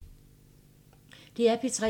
DR P3